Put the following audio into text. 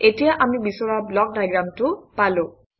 এতিয়া আমি বিচৰা ব্লক ডায়েগ্ৰামটো পালো